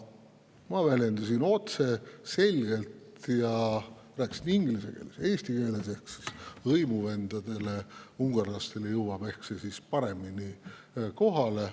Ma väljendasin end otse ja selgelt, rääkisime inglise keeles, eesti keeles – ehk hõimuvendadele ungarlastele jõuab see siis paremini kohale.